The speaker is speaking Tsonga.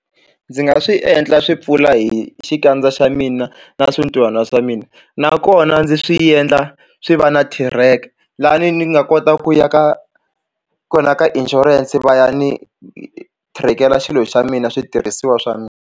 Ndzi nga swi endla swi pfula hi xikandza xa mina na swintuhana swa mina nakona ndzi swi endla swi va na thireke lani ni nga kota ku ya ka kona ka insurance va ya ni thirekela xilo xa mina switirhisiwa swa mina.